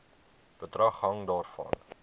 bedrag hang daarvan